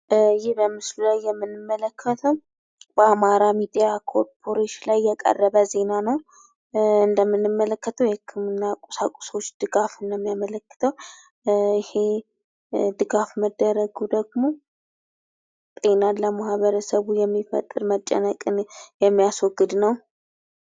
ይህ በምስሉ ላይ የምንመለከተው በአማራ ሚዲያ ኮርፖሬሽን ላይ የቀረበ ዜና ነው ። እንደምንመለከተው የህክምና ቁሳቁሶች ድጋፍን ነው ሚያመለክተው ይህ ድጋፍ መደረጉ ደግሞ ጤናን ለማኅበረሰቡ የሚፈጥር መጨነቅን የሚያስወግድ ነው ።